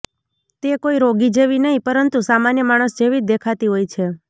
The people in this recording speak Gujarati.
તે કોઈ રોગી જેવી નહિ પરંતુ સામાન્ય માણસ જેવી જ દેખાતી હોય છે